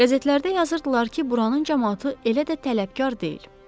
Qəzetlərdə yazırdılar ki, buranın camaatı elə də tələbkar deyil.